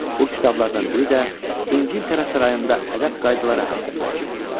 Bu kitablardan biri də İngiltərə sarayında ədəb qaydaları haqqında idi.